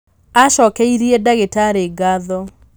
acokeirie ndagĩtarĩ ngatho